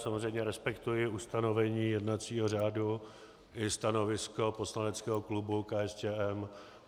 Samozřejmě respektuji ustanovení jednacího řádu i stanovisko poslaneckého klubu KSČM.